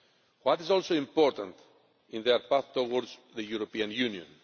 What is also important in their path towards the European Union?